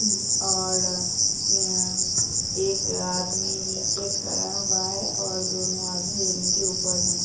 और यह एक आदमी नीचे खड़ा हुआ है और दोनों आदमी रेलिंग के ऊपर हैं ।